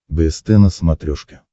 бст на смотрешке